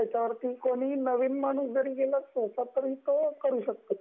कोणी नविन माणूस जरी गेला तरी पण तो करु शकतो ती गोष्ट